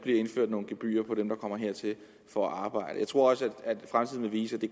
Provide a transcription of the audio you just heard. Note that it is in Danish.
indført nogle gebyrer for dem der kommer hertil for at arbejde jeg tror fremtiden vil vise at det